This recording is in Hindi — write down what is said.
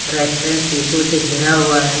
रेस्टोरेंट शिशो से घेरा हुआ है।